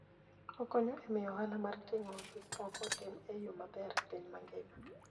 Okonyo e miyo ohala mar ting'o gik moko otim e yo maber e piny mangima.